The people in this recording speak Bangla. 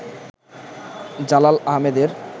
জালাল আহেমেদের